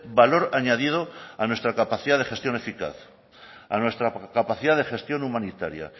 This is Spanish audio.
valor añadido a nuestra capacidad de gestión eficaz a nuestra capacidad de gestión humanitaria